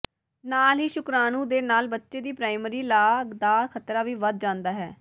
ਨਾਲ ਹੀ ਸ਼ੁਕ੍ਰਾਣੂ ਦੇ ਨਾਲ ਬੱਚੇ ਦੀ ਪ੍ਰਾਇਮਰੀ ਲਾਗ ਦਾ ਖ਼ਤਰਾ ਵੀ ਵਧ ਜਾਂਦਾ ਹੈ